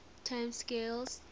time scales